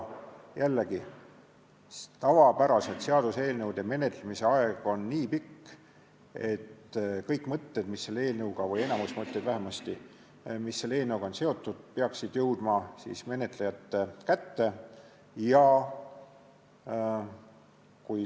Jällegi, tavapäraselt on seaduseelnõude menetlemise aeg nii pikk, et kõik mõtted või enamik mõtteid vähemasti, mis selle eelnõuga on seotud, peaksid jõudma menetlejate kätte.